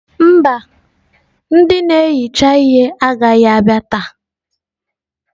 Mba ndị na-ehicha ihe agaghị abịa taa.